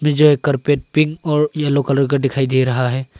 यह carpet pink और yellow colour का डिखाई दे रहा है।